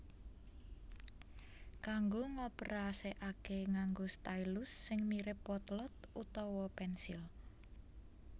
Kanggo ngoperasekake nganggo stylus sing mirip potlot utawa pensil